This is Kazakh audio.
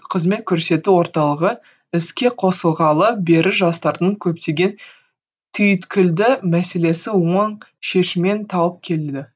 қызмет көрсету орталығы іске қосылғалы бері жастардың көптеген түйткілді мәселесі оң шешемін тауып келді